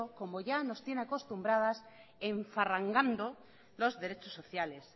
como ya nos tiene acostumbrados enfarragando los derechos sociales